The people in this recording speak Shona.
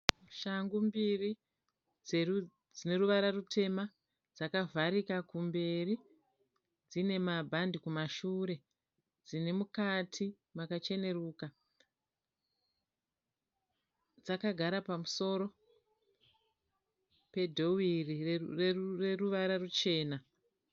Shangu mbiri dzine ruvara rutema dzakavharika kumberi dzine mabhandi kumashure dzine mukati makacheneruka dzakagara pamusoro pedhoiri reruvara ruchena.